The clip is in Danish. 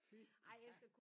Fy nej